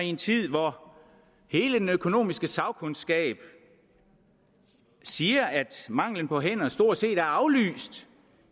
en tid hvor hele den økonomiske sagkundskab siger at mangelen på hænder stort set er aflyst